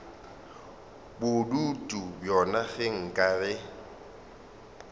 bodutu bjona ge nka re